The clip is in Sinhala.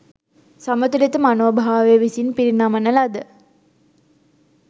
සමතුලිත මනෝභාවය විසින් පිරිනමන ලද